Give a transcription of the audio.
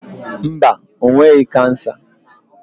Mba, o nweghị kansa.